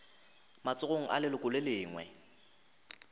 matsogong a leloko le lengwe